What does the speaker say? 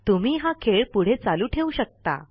तुम्ही हा खेळ पुढे चालू ठेवू शकता